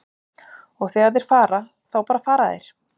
Og þegar þeir fara, þá bara fara þeir.